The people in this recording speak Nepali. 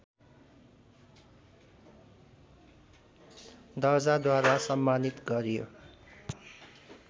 दर्जाद्वारा सम्मानित गरियो